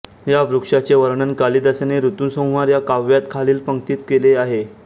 या वृक्षाचे वर्णन कालिदासाने ऋतुसंहार या काव्यात खालील पंक्तीत केले आहे